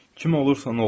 Kim olursan ol.